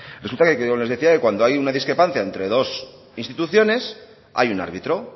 resulta que yo les decía que cuando hay una discrepancia entre dos instituciones hay un árbitro